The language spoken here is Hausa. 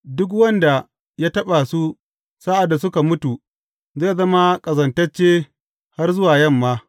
Duk wanda ya taɓa su sa’ad da suka mutu, zai zama ƙazantacce har zuwa yamma.